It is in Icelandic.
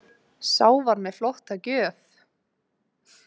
Sá var með flotta gjöf.